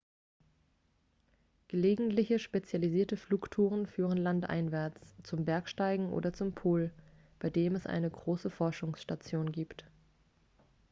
gelegentliche spezialisierte flugtouren führen landeinwärts zum bergsteigen oder zum pol bei dem es eine große forschungsstation gibt